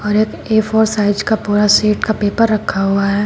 और एक A four size का पूरा सेट का पेपर रखा हुआ है।